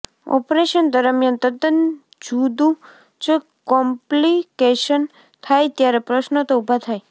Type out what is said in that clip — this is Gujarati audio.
ઓપરેશન દરમિયાન તદ્દન જુદું જ કોમ્પ્લિકેશન થાય ત્યારે પ્રશ્નો તો ઊભા થાય